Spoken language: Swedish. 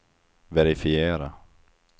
verifiera